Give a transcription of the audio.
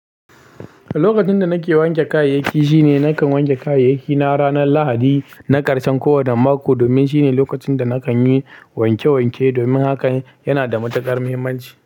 Lokacin da nake wanke kayayyaki shine nakan wanke kayayyaki na ranar Lahadi na karshen kowane mako domin shine lokacin da nakan yi wanke wanke, domin haka yana da matukar muhimmanci.